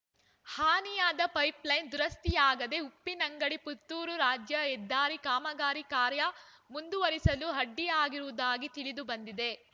ಹಾನಿಯಾದ ಪೈಪ್‌ಲೈನ್ ದುರಸ್ತಿಯಾಗದೆ ಉಪ್ಪಿನಂಗಡಿ ಪುತ್ತೂರು ರಾಜ್ಯ ಹೆದ್ದಾರಿ ಕಾಮಗಾರಿ ಕಾರ್ಯ ಮುಂದುವರಿಸಲು ಅಡ್ಡಿಯಾಗಿರುವುದಾಗಿ ತಿಳಿದು ಬಂದಿದೆ